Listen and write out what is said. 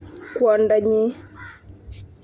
Kwondonyi.